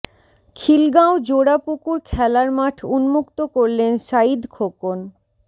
খিলগাঁও জোড়া পুকুর খেলার মাঠ উন্মুক্ত করলেন সাঈদ খোকন